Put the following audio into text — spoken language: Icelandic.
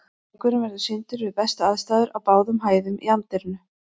Leikurinn verður sýndur við bestu aðstæður á báðum hæðum í anddyrinu.